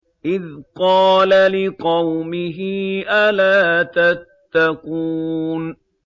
إِذْ قَالَ لِقَوْمِهِ أَلَا تَتَّقُونَ